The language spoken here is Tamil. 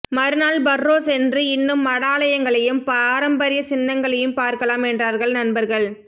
மறுநாள் பர்ரோ சென்று இன்னும் மடாலயங்களையும் பாரம்பரியச்சின்னங்களையும் பார்க்கலாம் என்றார்கள் நண்பர்கள்